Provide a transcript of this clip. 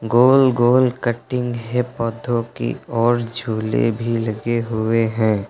गोल गोल कटिंग है पौधों की और झूले भी लगे हुए हैं।